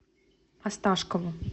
осташкову